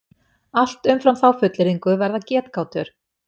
Allt umfram þá fullyrðingu verða getgátur.